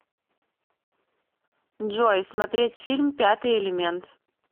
джой смотреть фильм пятый элемент